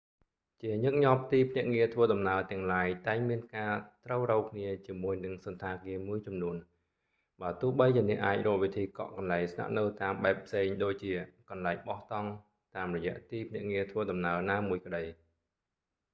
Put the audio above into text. ជាញឹកញាប់ទីភ្នាក់ងារធ្វើដំណើរទាំងឡាយតែងមានការត្រូវរ៉ូវគ្នាជាមួយនឹងសណ្ឋាគារមួយចំនួន បើទោះបីជាអ្នកអាចរកវិធីកក់កន្លែងស្នាក់នៅតាមបែបផ្សេងដូចជា កន្លែងបោះតង់ តាមរយៈទីភ្នាក់ងារធ្វើដំណើរណាមួយក្តី